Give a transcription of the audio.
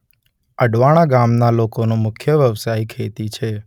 અડવાણા ગામના લોકોનો મુખ્ય વ્યવસાય ખેતી છે.